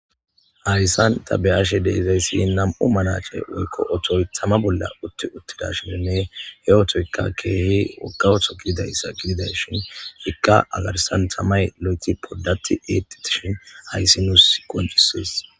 Hayssan ta beyashe deeizayssi nam'u manace woykko otoy tama bolla utti uttidashininne he otoykka keehi wogga oto gididayssa gididayshin ikka agarsan tamay lo'eti poddati exishin hayssi nuus qoncises